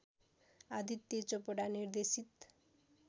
आदित्य चोपडा निर्देशित